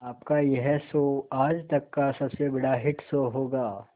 आपका यह शो आज तक का सबसे बड़ा हिट शो होगा